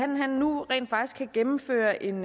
nu rent faktisk kan gennemføre en